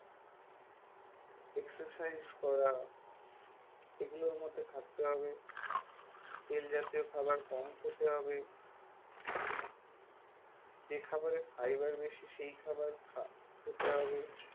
exercise করা, এগুলোর মধ্যে থাকতে হবে। তেল জাতীয় খাবার‌ কম খেতে হবে, যে খাবারে fiber বেশি সেই খাবার খেতে হবে।